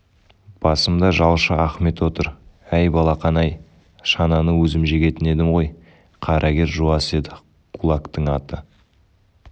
басымда жалшы ахмет отыр әй балақан-ай шананы өзім жегетін едім ғой қарагер жуас еді қулактың аты